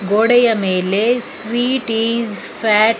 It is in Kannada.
ಗೋಡೆಯ ಮೇಲೆ ಸ್ವೀಟ್ ಇಸ್ ಫ್ಯಾಟ್ --